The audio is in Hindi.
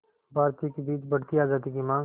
भारतीयों के बीच बढ़ती आज़ादी की मांग